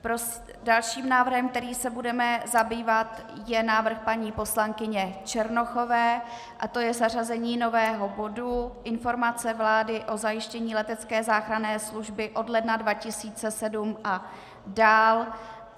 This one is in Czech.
Dalším návrhem, kterým se budeme zabývat, je návrh paní poslankyně Černochové a je to zařazení nového bodu Informace vlády o zajištění letecké záchranné služby od ledna 2017 a dál.